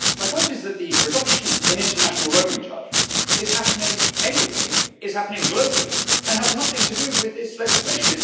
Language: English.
My point is that the reduction in international roaming charges is happening anyway, is happening globally, and has nothing to do with this legislation.